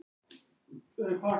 Hann hlær líka.